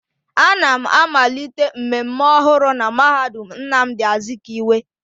A na m amalite mmemme ọhụrụ na mahadum Nnamdi Azikiwe